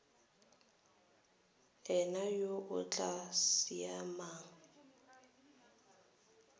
ena yo o tla saenang